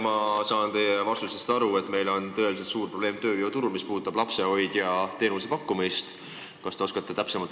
Ma saan teie vastusest aru, et meil on tööjõuturul lapsehoiuteenuse pakkumisega tõeliselt suur probleem.